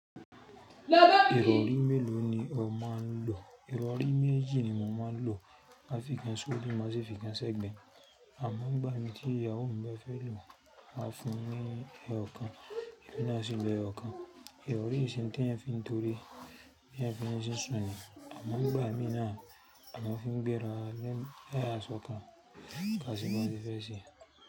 Ìrọ̀rí mélòó ni ò máa ń lò? Ìrọ̀rí méjì ni mo máa ń lò. Mafiikán ṣori má sì fiíkán sẹ́gbẹ̀ Àmọ́ nígbà mi tí ìyàwó mi bá fẹ́ lò, a fún wín ẹẹ́ ọ̀kan, èmi náà sì lò ẹẹ́ ọ̀kan. Ìrọ̀rí nse oun tí ẹ̀yan ń fi tore bí ẹ́yan fi ń jíṣún ni. Àmọ́ nígbà mí náà, a máa ń fi bẹrẹ lẹ́yìn ẹyẹ àsọ kan ká sì máa fi fẹ́ ṣe.